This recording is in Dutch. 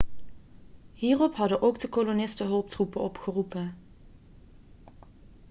hierop hadden ook de kolonisten hulptroepen opgeroepen